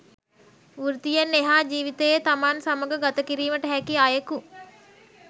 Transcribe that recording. වෘත්තියෙන් එහා ජීවිතයේ තමන් සමග ගත කිරීමට හැකි අයකු